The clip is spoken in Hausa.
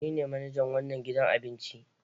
Ni ne manajan wannan gidan abinci.